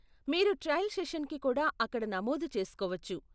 మీరు ట్రయల్ సెషన్కి కూడా అక్కడ నమోదు చేసుకోవచ్చు.